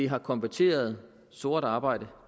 har konverteret sort arbejde